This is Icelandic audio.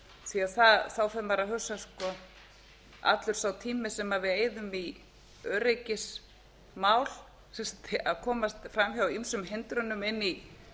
því að þá fer maður að hugsa hvort allur sá tími sem við eyðum í öryggismál sem sagt að komast fram hjá ýmsum hindrunum inn í